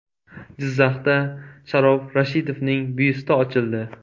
Jizzaxda Sharof Rashidovning byusti ochildi.